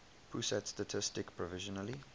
pusat statistik provisionally